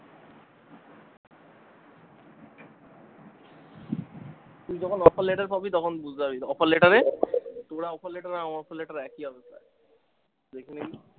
তুই যখন offer letter পাবি তখন বুঝতে পারবি offer letter এ তোর offer letter আর আমার offer letter একই হবে প্রায়ে দেখে নিবি।